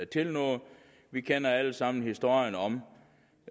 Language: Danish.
til noget vi kender alle sammen historierne om